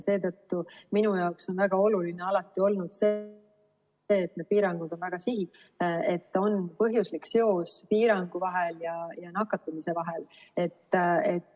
Seetõttu minu jaoks on väga oluline alati olnud see, et need piirangud on väga sihitud, et on põhjuslik seos piirangu ja nakatumise vahel.